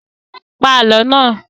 Pa Àlọ́ náà!